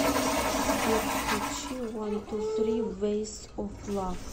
сбер включи вантуфри вэйс оф лав